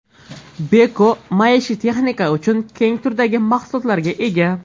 Beko maishiy texnika uchun keng turdagi mahsulotlarga ega.